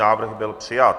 Návrh byl přijat.